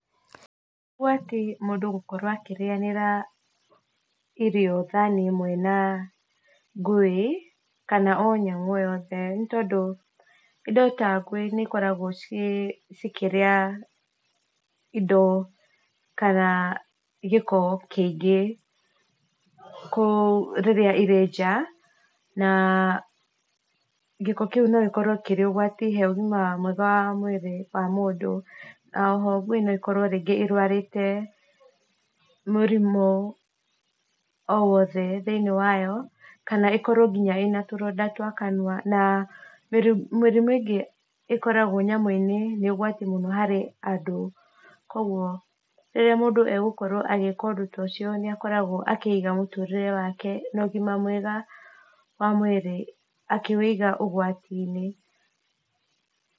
Gwati gũkorwo mũndũ akĩrĩanĩra irio thani ĩmwe na ngui, kana o nyamũ o yothe nĩ tondũ indo ta ngui nĩ ikoragwo cikĩrĩa indo kana gĩko kĩingĩ kũ rĩrĩa iri nja, na gĩko kĩu no gĩkorwo kĩrĩ ũgwati he ũgima mwega wa mwĩrĩ wa mũndũ, oho ngui no ĩkorwo rĩngĩ ĩrwarĩte murimũ o wothe thĩiniĩ wayo, kana ĩkorwo ningĩ na tũronda twa kanua, na mĩrimũ ĩngĩ ĩkoragwo nyamũ-inĩ nĩ ũgwati mũno harĩ andũ, kũgwo rĩrĩa mũndũ agũkorwo agĩka ũndũ ta ũcio nĩ akoragwo akĩiga mũtũrĩre wake na ũgima mwega wa mwĩrĩ akĩwĩiga ũgwati-inĩ.